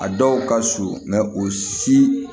A dɔw ka surun o si